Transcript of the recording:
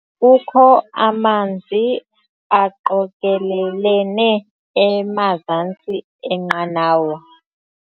Kukho amanzi aqokelelene emazantsi enqanawa.